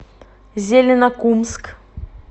зеленокумск